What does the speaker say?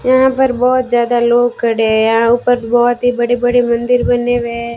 यहां पर बहोत ज्यादा लोग खड़े हैं यहां ऊपर बहुत ही बड़े बड़े मंदिर बने हुए हैं।